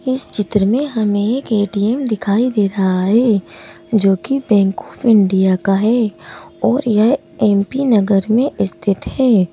इस चित्र में हमें एक ए_टी_एम दिखाई दे रहा है जोकि बैंक आफ इंडिया का है और यह एम_पी नगर में स्थित है।